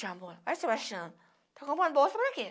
Chamou, olha Sebastiana está comprando bolsa por que?